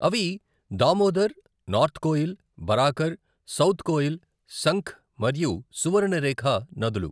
అవి Damodar, north Koel, Barakar, south Koel, Sankh మరియు సువర్ణరేఖ నదులు.